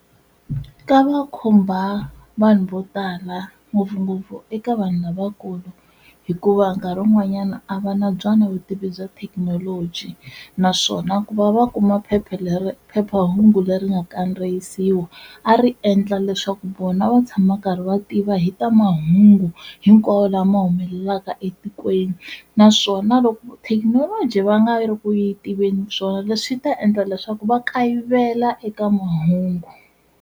Ka va khumba vanhu vo tala ngopfungopfu eka vanhu lavakulu hikuva nkarhi wun'wanyana a va na byona vutivi bya thekinoloji, naswona ku va va kuma phepha leri phephahungu leri nga kandziyisiwa a ri endla leswaku vona va tshama karhi va tiva hi ta mahungu hinkwawo lama ma humelelaka etikweni naswona loko thekinoloji va nga ri ku yi tiveni swona leswi ta endla leswaku va kayivela eka mahungu.